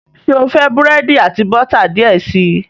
Ṣe o fẹ búrẹ́di ati bota diẹ sii?